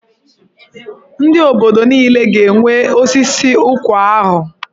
Ndị obodo niile ga-enwe osisi ụkwa ahụ.